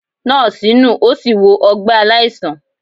Nọọsi nu o si wọ ọgbẹ alaisan.